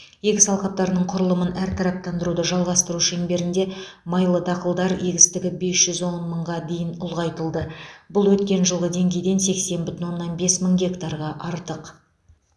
егіс алқаптарының құрылымын әртараптандыруды жалғастыру шеңберінде майлы дақылдар егістігі бес жүз он мыңға дейін ұлғайтылды бұл өткен жылғы деңгейден сексен бүтін оннан бес мың гектарға артық